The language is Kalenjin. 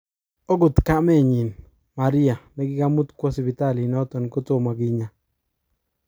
Okot kamenyin, Maria nekakimut kwo sipitalit noton kotomo kinya.